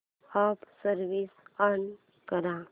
app switch on कर